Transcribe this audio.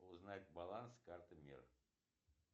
узнать баланс карты мир